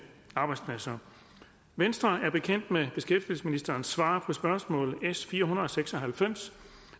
arbejdspladser venstre er bekendt med beskæftigelsesministerens svar på spørgsmål nummer s fire hundrede og seks og halvfems